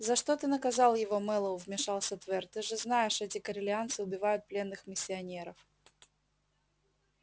за что ты наказал его мэллоу вмешался твер ты же знаешь эти корелианцы убивают пленных миссионеров